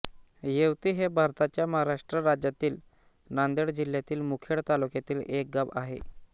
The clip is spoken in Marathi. येवती हे भारताच्या महाराष्ट्र राज्यातील नांदेड जिल्ह्यातील मुखेड तालुक्यातील एक गाव आहे